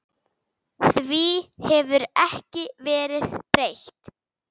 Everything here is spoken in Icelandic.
Því hefur ekki verið breytt.